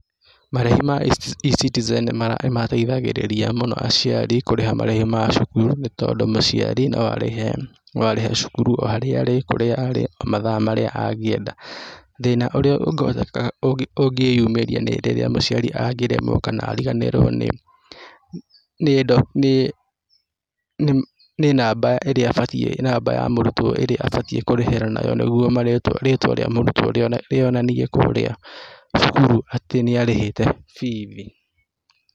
Marĩhi ma eCitizen nĩ nĩ mateithagĩrĩria mũno aciari kũrĩha marĩhi ma cukuru, nĩ tondũ mũciari no arĩhe no arihe cukuru o harĩa arĩ, kũrĩa arĩ, mathaa marĩa angĩenda. Thĩna ũrĩa ũngĩhota ũngĩyumĩria nĩ hĩndĩ ĩrĩa mũciari angĩremwo kana ariganĩrwo nĩ nĩ nĩ nĩ namba ĩrĩa abatiĩ , namba ya mũrutwo ĩrĩa abatiĩ kũrĩhĩra nayo nĩguo marĩtwa rĩtwa rĩa mũrutwo rĩonanie kũrĩa cukuru atĩ nĩarĩhite bithi.